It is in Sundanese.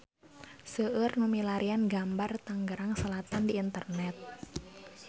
Seueur nu milarian gambar Tangerang Selatan di internet